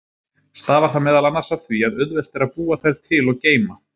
Stafar það meðal annars af því að auðvelt er að búa þær til og geyma.